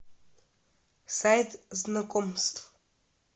сайт знакомств